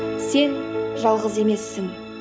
сен жалғыз емессің